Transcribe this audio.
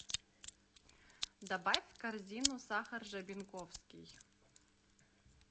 добавь в корзину сахар жабинковский